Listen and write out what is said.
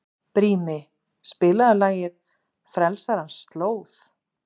Brími, spilaðu lagið „Frelsarans slóð“.